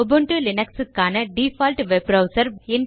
Ubuntu Linux க்கான default web browser